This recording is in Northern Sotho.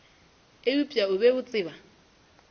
eupša o be a tseba